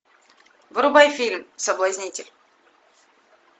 врубай фильм соблазнитель